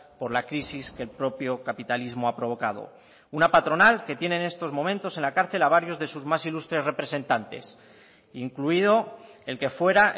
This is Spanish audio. por la crisis que el propio capitalismo ha provocado una patronal que tiene en estos momentos en la cárcel a varios de sus más ilustres representantes incluido el que fuera